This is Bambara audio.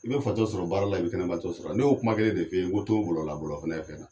I bɛ fatɔ sɔrɔ baara la, i bɛ kɛnɛbatɔ sɔrɔ la, ne y'o kuma kelen de fe yen n ko to ye bɔlɔla, bɔlɔ fana ye fɛn na.